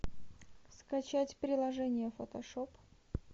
скачать приложение фотошоп